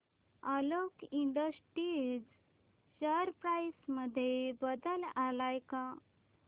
Alok industries share price मध्ये बदल आलाय का